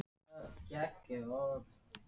Þá ákvað Berta að þau röðuðu sér upp í einfalda röð.